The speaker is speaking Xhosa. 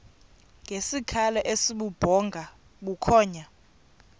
ngesikhalo esibubhonga bukhonya